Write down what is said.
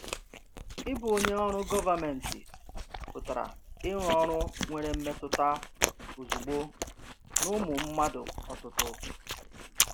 Ịbụ onye ọrụ gọvanmentị pụtara irụ ọrụ nwere mmetụta ozugbo n’ụmụ mmadụ ọtụtụ.